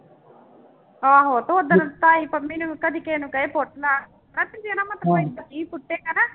ਆਹੋ ਤੇ ਓਦਣ ਤਾਈ ਪੰਮੀ ਨੇ ਕਦੇ ਕਿਸੇ ਨੂੰ ਪੁੱਟ ਲਾ ਪੁੱਟੇਗਾ ਨਾ